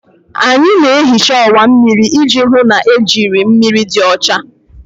Anyị na-ehicha ọwa mmiri iji hụ na ejiri mmiri dị ọcha.